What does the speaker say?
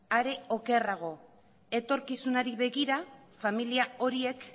are okerrago etorkizunari begira familia horiek